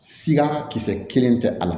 Sika kisɛ kelen tɛ a la